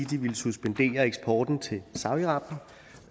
de ville suspendere eksporten til saudi arabien